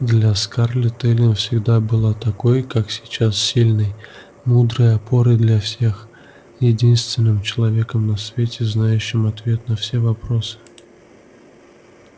для скарлетт эллин всегда была такой как сейчас сильной мудрой опорой для всех единственным человеком на свете знающим ответ на все вопросы